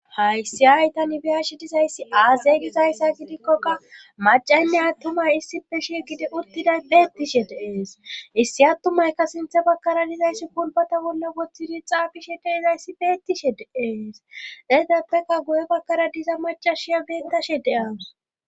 Hayssi aytan ibiyashi dizayssi aazeyygizayssa gidikkoka macaynne attumay issipe shi gidi urtiday beettishe deees issi attumayka sinthe bakara dizayssi pulbata bolla woththidi xaafishe deizayssi beettishe deees eegeppeka guye bakkara diza macashiya beettashe de'awus.